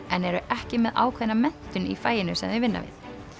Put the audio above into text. en eru ekki með ákveðna menntun í faginu sem þau vinna við